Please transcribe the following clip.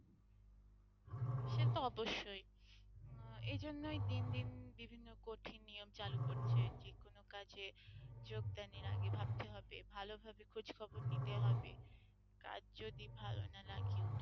সেটা তো অবশ্যই আহ এজন্যই দিন দিন বিভিন্ন কঠিন নিয়ম চালু করছে যে কোন কাজে যোগদানের আগে ভাবতে হবে ভালোভাবে খোঁজখবর নিতে হবে কাজ যদি ভাল না লাগেও,